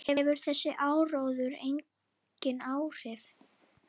Hefur þessi áróður engin áhrif?